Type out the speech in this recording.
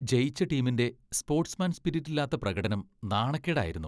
ജയിച്ച ടീമിന്റെ sportsman spirit ഇല്ലാത്ത പ്രകടനം നാണക്കേടായിരുന്നു.